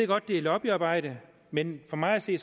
godt det er lobbyarbejde men for mig at se